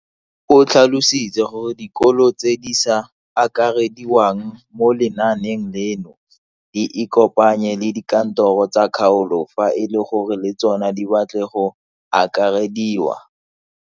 O tlhalositse gore dikolo tse di sa akarediwang mo lenaaneng leno di ikopanye le dikantoro tsa kgaolo fa e le gore le tsona di batla go akarediwa.